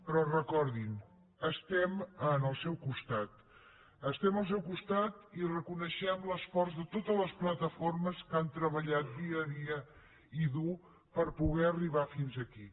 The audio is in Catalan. però recordin estem al seu costat estem al seu costat i reconeixem l’esforç de totes les plataformes que han treballat dia a dia i dur per poder arribar fins aquí